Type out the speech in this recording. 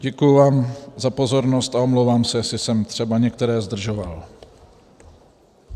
Děkuji vám za pozornost a omlouvám se, jestli jsem třeba některé zdržoval.